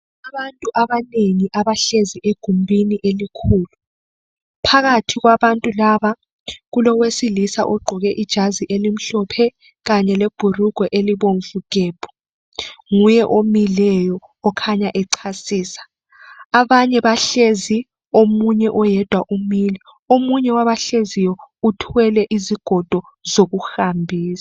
Abantu abanengi abahlezi egumbini elikhulu phakathi kwabantu laba kulowesilisa ogqoke ijazi elimhlophe Kanye leɓhulugwe elibomvu gebhu nguye omileyo okhanya echasisa. Abanye bahlezi oyedwa umile. Omunye wabahleziyo uthwele izigodo zokuhambisa.